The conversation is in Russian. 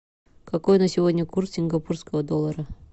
какой на сегодня курс сингапурского доллара